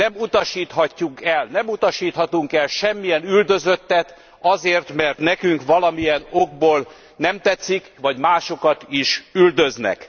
Nem utasíthatjuk el, nem utasíthatunk el semmilyen üldözöttet azért, mert nekünk valamilyen okból nem tetszik, vagy másokat is üldöznek.